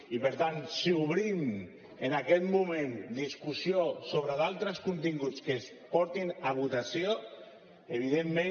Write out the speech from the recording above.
i per tant si obrim en aquest moment discussió sobre d’altres continguts que es portin a votació evidentment